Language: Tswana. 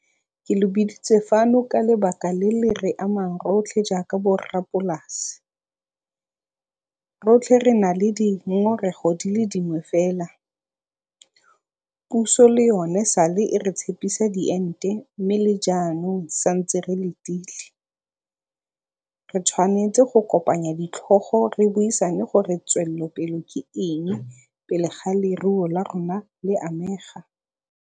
Ke lo biditse fano ka lebaka le le re amang rotlhe jaaka borrapolasi. Rotlhe re na le dingongorego di le dingwe fela, puso le yone e sa le e re tshepisa diente mme le jaanong santse re letile. Re tshwanetse go kopanya ditlhogo re buisane gore tswelelopele ke eng pele ga leruo la rona le amega.